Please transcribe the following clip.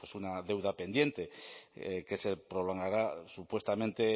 pues una deuda pendiente que se prolongará supuestamente